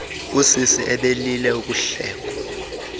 usisi ebelile ukuhlekwa